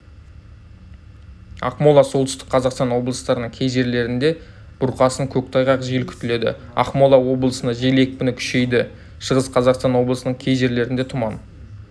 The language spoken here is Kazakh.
ақмола солтүстік қазақстан облыстарының кей жерлерінде бұрқасын көктайғақ жел күтіледі ақмола облысында жел екпіні күшейеді шығыс қазақстан облысының кей жерлерінде тұман